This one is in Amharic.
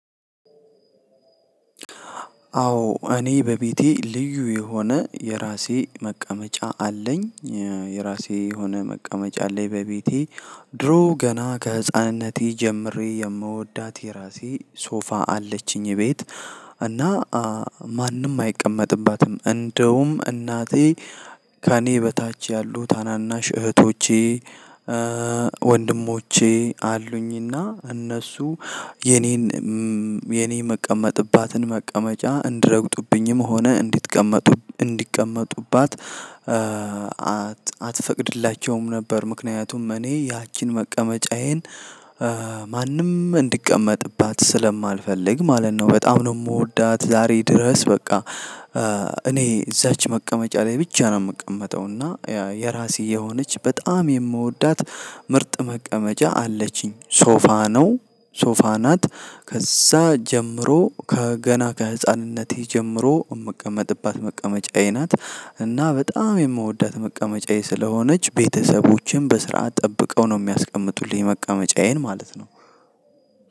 አዎ። እኔ በቤቴ ልዩ የሆነ የራሴ መቀመጫ አለኝ። የራሴ የሆነ መቀመጫ አለኝ በቤቴ ድሮ ገና ከህፃንነቴ ጀምሬ የምወዳት የራሴ ሶፋ አለችኝ ቤት እና ማንም አይቀመጥባትም። እንደውም እናቴ ከእኔ በታች ያሉ ታናናሽ እህቶቼ ወንድሞቼ አሉኝና እነሱ የኔን የኔ የምቀመጥባትን መቀመጫ እንድረግጡብኝም ሆነ እንዲቀመጡባት አትፈቅድላቸውም ነበር። ምክንያቱም እኔ ያቺን መቀመጫዬን ማንም እንድቀመጥባት ስለማልፈልግ ማለት ነው። በጣም ነው የምወዳት፣ ዛሬ ድረስ። በቃ እኔ እዛች መቀመጫ ላይ ብቻ ነው የምትቀመጠው። እና ያ የራሴ የሆነች በጣም የምወዳት ምርጥ መቀመጫ አለችኝ ሶፋ ነው። ሶፋ ናት ከዛ ጀምሮ ከገና ከህፃንነቴ ጀምሮ የምቀመጥባት መቀመጫዬ ናት እና በጣም የምወዳት መቀመጫዬ ስለሆነች ቤተሰቦችን በስርዓት ጠብቀው ነው የሚያስቀምጡልኝ መቀመጫዬን ማለት ነ።